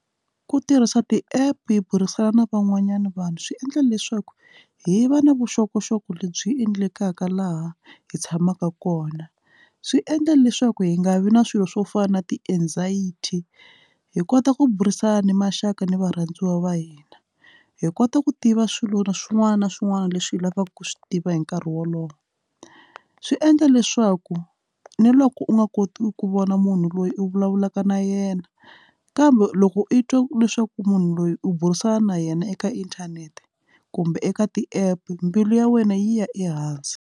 Ku tirhisa ti-app hi burisana na van'wanyana vanhu swi endla leswaku hi va na vuxokoxoko lebyi endlekaka laha hi tshamaka kona swi endla leswaku hi nga vi na swilo swo fana na ti-anxiety hi kota ku burisana na maxaka ni varhandziwa va hina hi kota ku tiva swilo na swin'wana na swin'wana leswi hi lavaka ku swi tiva hi nkarhi wolowo swi endla leswaku ni loko u nga koti ku vona munhu loyi u vulavulaka na yena kambe loko i twa leswaku munhu loyi u burisana na yena eka inthanete kumbe eka ti-app mbilu ya wena yi ya ehansi.